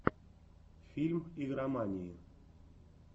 фильм игромании